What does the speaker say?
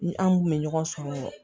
Ni an kun bɛ ɲɔgɔn sɔrɔ